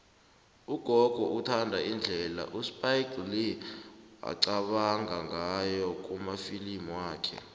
ugogo uthanda indlela uspike lee aqabanga ngayo kumafilimu wakhe